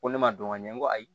Ko ne ma dɔn ɲɛ n ko ayi